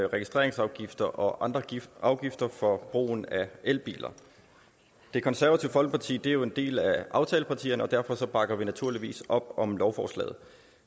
registreringsafgifter og andre afgifter for brugen af elbiler det konservative folkeparti er jo en del af aftalepartierne og derfor bakker vi naturligvis op om lovforslaget